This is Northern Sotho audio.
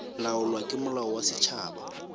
laolwa ke molao wa setšhaba